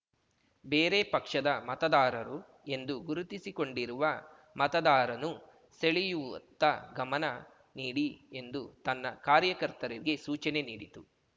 ಬೇರೆ ಪಕ್ಷದ ಮತದಾರರು ಎಂದು ಗುರುತಿಸಿಕೊಂಡಿರುವ ಮತದಾರನ್ನು ಸೆಳೆಯುವತ್ತ ಗಮನ ನೀಡಿ ಎಂದು ತನ್ನ ಕಾರ್ಯಕರ್ತರಿಗೆ ಸೂಚನೆ ನೀಡಿತ್ತು